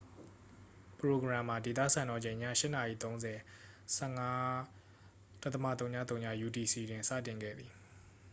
ပရိုဂရမ်မှာ ဒေသစံတော်ချိန် ည ၈:၃၀ ၁၅.၀၀ utc တွင် စတင်ခဲ့သည်။